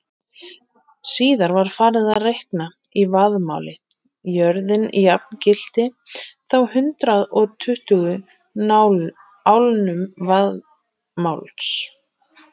Síðar var farið að reikna í vaðmáli, jörðin jafngilti þá hundrað og tuttugu álnum vaðmáls.